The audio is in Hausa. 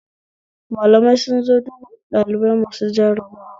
Malamai sun zo duba ɗalibai masu jarabawa